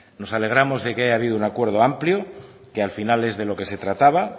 nos alegramos de que haya habido un acuerdo amplio que al final es de lo que se trataba